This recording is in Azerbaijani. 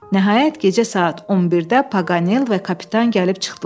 Nəhayət, gecə saat 11-də Paganel və kapitan gəlib çıxdılar.